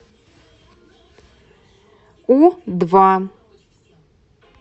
у два